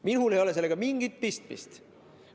Minul ei ole sellega mingit pistmist.